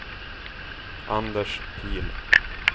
Anders Pihl